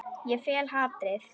Ég fel hatrið.